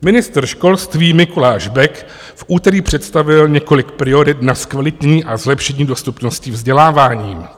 Ministr školství Mikuláš Bek v úterý představil několik priorit na zkvalitní a zlepšení dostupnosti vzdělávání.